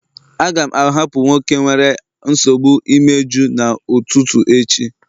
A ga-ahapụ nwoke nwere nsogbu imeju n'ụtụtụ echi